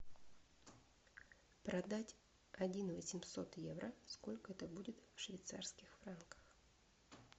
продать один восемьсот евро сколько это будет в швейцарских франках